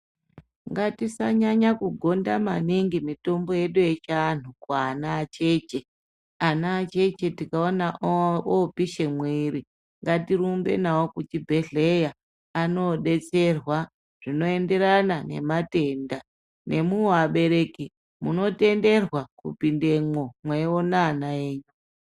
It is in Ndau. Ngatisanyanya kugonda maningi mitombo yedu yechiantu kuana acheche. Ana acheche tikaona opishe mwiri ngatirumbe nawo nawo kuchibhehlera anoodetserwa zvinoenderana nematenda nemwiwo abereki munotenderwa kupindemwo mweiona ana enyu.